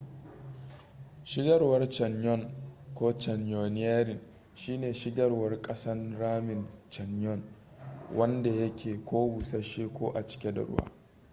shigarwar canyon ko: canyoneering shi ne shigarwar ƙasan ramin canyon wanda yake ko bussashe ko a cike da ruwa